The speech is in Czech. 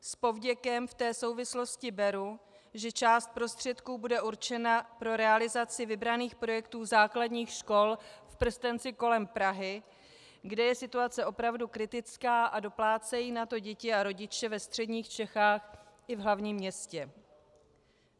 S povděkem v té souvislosti beru, že část prostředků bude určena pro realizaci vybraných projektů základních škol v prstenci kolem Prahy, kde je situace opravdu kritická, a doplácejí na to děti a rodiče ve středních Čechách i v hlavním městě.